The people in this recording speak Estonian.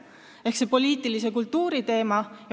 See on poliitilise kultuuri teema.